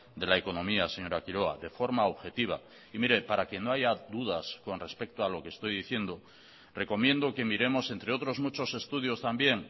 de la economía señora quiroga de forma objetiva y mire para que no haya dudas con respecto a lo que estoy diciendo recomiendo que miremos entre otros muchos estudios también